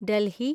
Delhi